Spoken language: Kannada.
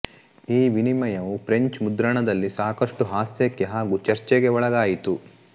ಈ ವಿನಿಮಯವು ಪ್ರೆಂಚ್ ಮುದ್ರಣದಲ್ಲಿ ಸಾಕಷ್ಟು ಹಾಸ್ಯಕ್ಕೆ ಹಾಗೂ ಚರ್ಚೆಗೆ ಒಳಗಾಯಿತು